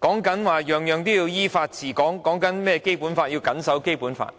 政府主張依法治港和謹守《基本法》。